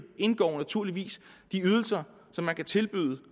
indgår naturligvis de ydelser som man kan tilbyde